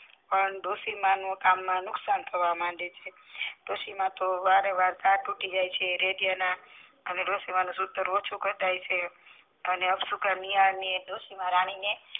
અને ડોસી માનું કામ વધારે નુકસાન થવા લાગે છે ડોસી મન વારે વારે તાર તૂટી જાય છે રેડિયા ના અને ડોસી માનું સુતર ઓછું કપાય છે અને અપશુકન ડોસી માં રાણી ને